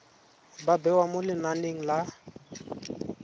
ba bewa mo lenaneng la